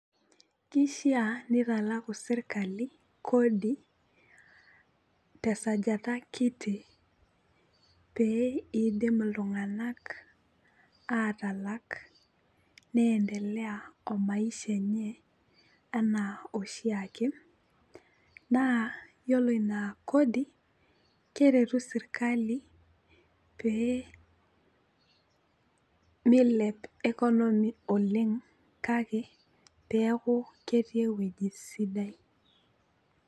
Kishia nitalaku sirkali kodi tesajata kiti pee idim iltung'anak atalak nendeleya o maisha enye anaa oshiake naa yiolo ina kodi keretu sirkali pee milep economy oleng' kake peeku ketii ewueji sidai.